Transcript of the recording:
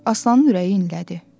Aslanın ürəyi inlədi.